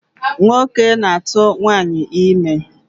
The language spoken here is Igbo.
Nwoke na-atụ nwaanyị ime.